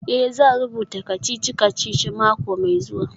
Eh, zan rubuta kacici-kacici mako mai zuwa.